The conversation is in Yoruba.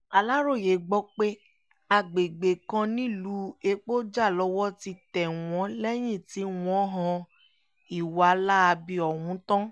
aláròye gbọ́ pé àgbègbè kan nílùú ekpojà lowó ti tẹ̀ wọ́n lẹ́yìn tí wọ́n hu ìwà láabi ọ̀hún tán